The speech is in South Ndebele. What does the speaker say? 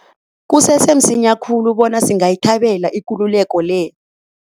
Kusese msinya khulu bona singayithabela ikululeko le.